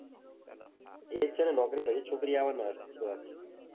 એજ છે ને નોકરી પછી જ છોકરી આવે ને.